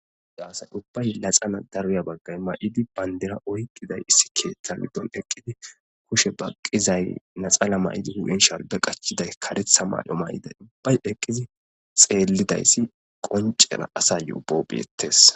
Ubay dariya bagay laxana mayidi bandira oyqidi mitha giddon eqidi kushe baqizzay laxana mayidi sharbe qachiday karetha mayo mayiday ubbay eqiddi xelizayssi qoncen asayo ubaw bettes.